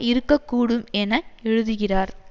இருக்க கூடும் என எழுதுகிறார்